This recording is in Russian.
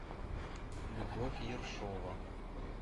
любовь ершова